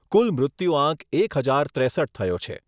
કુલ મૃત્યુઆંક એક હજાર ત્રેસઠ થયો છે.